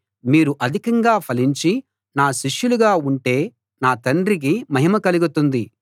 మీరు అధికంగా ఫలించి నా శిష్యులుగా ఉంటే నా తండ్రికి మహిమ కలుగుతుంది